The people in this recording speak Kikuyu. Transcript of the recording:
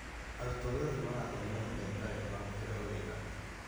Arutwo othe arĩa marathomera udagĩtarĩ nĩ makuheo wĩra.